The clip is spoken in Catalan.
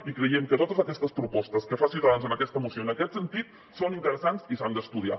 i creiem que totes aquestes propostes que fa ciutadans en aquesta moció en aquest sentit són interessants i s’han d’estudiar